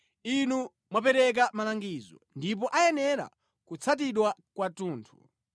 Inu mwapereka malangizo ndipo ayenera kutsatidwa kwathunthu.